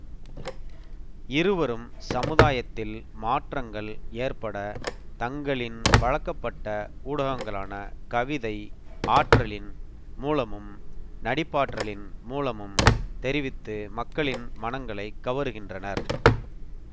இருவரும் சமுதாயத்தில் மாற்றங்கள் ஏற்பட தங்களின் பழக்கப்பட்ட ஊடகங்களான கவிதை ஆற்றலின் மூலமும் நடிப்பாற்றலின் மூலமும் தெரிவித்து மக்களின் மனங்களைக் கவருகின்றனர்